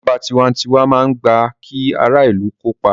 Ìjọba tiwantiwa máa ń gbà kí ara ìlù kópa